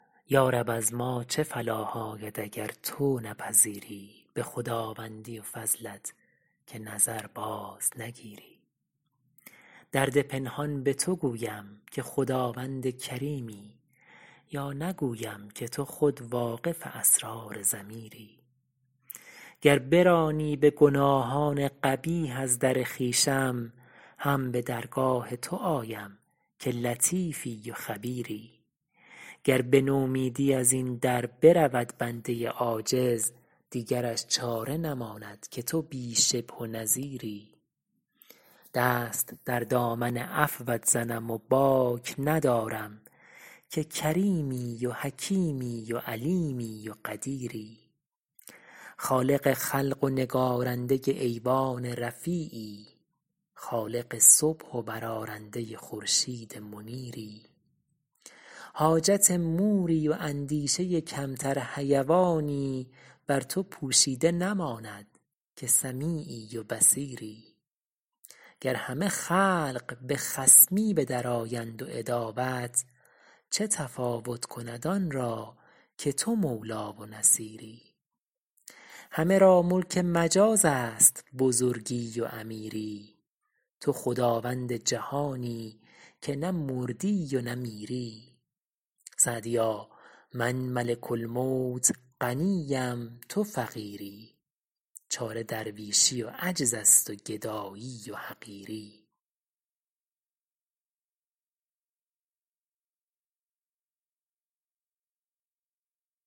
یارب از ما چه فلاح آید اگر تو نپذیری به خداوندی و فضلت که نظر باز نگیری درد پنهان به تو گویم که خداوند کریمی یا نگویم که تو خود واقف اسرار ضمیری گر برانی به گناهان قبیح از در خویشم هم به درگاه تو آیم که لطیفی و خبیری گر به نومیدی از این در برود بنده عاجز دیگرش چاره نماند که تو بی شبه و نظیری دست در دامن عفوت زنم و باک ندارم که کریمی و حکیمی و علیمی و قدیری خالق خلق و نگارنده ایوان رفیعی خالق صبح و برآرنده خورشید منیری حاجت موری و اندیشه کمتر حیوانی بر تو پوشیده نماند که سمیعی و بصیری گر همه خلق به خصمی به در آیند و عداوت چه تفاوت کند آن را که تو مولا و نصیری همه را ملک مجاز است بزرگی و امیری تو خداوند جهانی که نه مردی و نه میری سعدیا من ملک الموت غنی ام تو فقیری چاره درویشی و عجز است و گدایی و حقیری